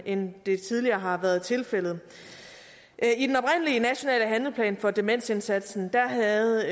end det tidligere har været tilfældet i nationale handleplan for demensindsatsen havde